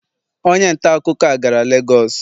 Onye ntaakụkọ a gara Lagos?